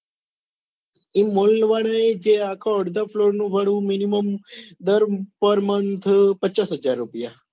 એ mall વાળા એ જે આખો અડધો floor નું ભાડું minimum દર par month પચાસ હજાર રૂપિયા